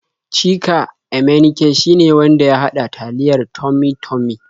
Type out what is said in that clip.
Chika Emenike shine wanda ya haɗa taliyar Tummy-Tummy.